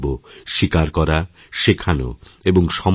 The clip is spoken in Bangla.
স্বীকারকরা শেখানো এবং সময় দেওয়া